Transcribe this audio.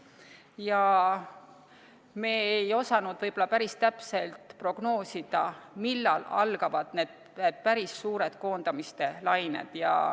Ja me ei osanud päris täpselt prognoosida, millal algavad need päris suured koondamiste lained.